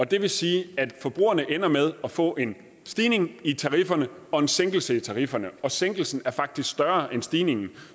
det vil sige at forbrugerne ender med at få en stigning i tarifferne og en sænkelse af tarifferne og sænkelsen er faktisk større end stigningen